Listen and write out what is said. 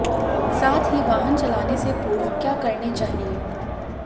साथ ही वाहन चलाने से पूर्व क्या करने चाहिए